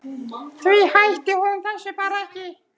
Því hætti hún þessu bara ekki.